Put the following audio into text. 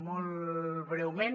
molt breument